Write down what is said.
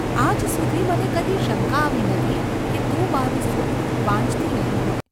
‘આજ સુધી મને કદી શંકા આવી નથી કે તું મારું સુખ વાંચ્છતી નહિ હોય.